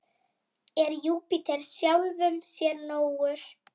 Er Júpíter sjálfum sér nógur?